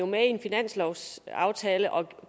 med i en finanslovsaftale og